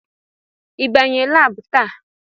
Ị banye laabu taa!